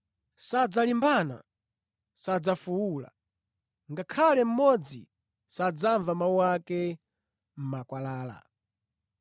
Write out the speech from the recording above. Sadzalimbana, sadzafuwula, ngakhale mmodzi sadzamva mawu ake mʼmakwalala.